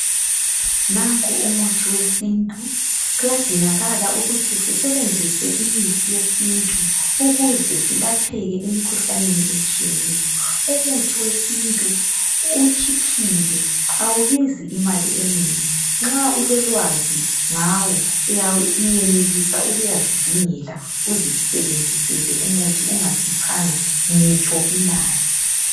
Nanku umuthi wesintu kuyadingakala ukuthi sisebenzise imithi yesintu ukuze silapheke emikhuhlaneni etshiyeneyo umuthi wesintu utshiphile awubizi imali enengi nxa ulolwazi ngawo uyayenelisa ukuyazidingela uzisebenzisele umuthi ungakhiphanga ngitsho imali